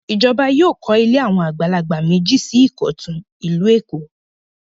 Ìjọba yóò kọ́ ilé àwọn àgbàlagbà méjì sí Ìkọ̀tún, ìlú Èkó.